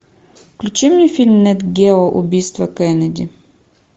включи мне фильм нет гео убийство кеннеди